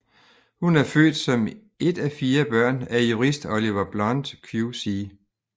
Hun er født som et af fire børn af jurist Oliver Blunt QC